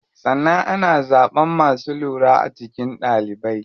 Sannan ana zaɓan masu lura a cikin ɗalibai.